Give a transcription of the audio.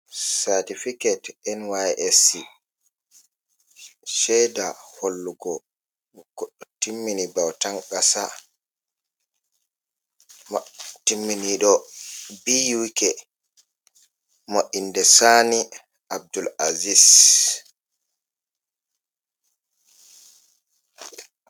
"Certificate"nysc sheda hollugo goɗɗo timmini bautan qasa timminiɗo B U K mo inde sani Abdul azis.